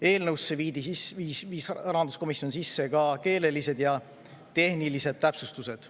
Rahanduskomisjon viis eelnõusse sisse ka keelelised ja tehnilised täpsustused.